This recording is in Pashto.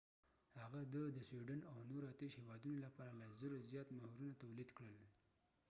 هغه د د سویډن او نورو 28 هیوادونو لپاره له 1000 زیات مهرونه تولید کړل